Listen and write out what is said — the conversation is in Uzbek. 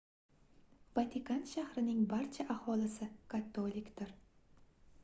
vatikan shahrining barcha aholisi katolikdir